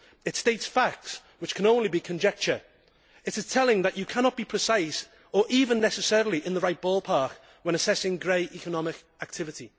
It states facts which can only be conjecture. It is telling that you cannot be precise, or even necessarily in the right ballpark, when assessing grey economic activity.